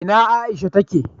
ina Aisha ta ke?